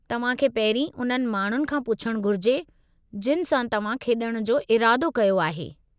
तव्हांखे पहिरीं उन्हनि माण्हुनि खां पुछणु घुरिजे जिनि सां तव्हां खेॾण जो इरादो कयो आहे।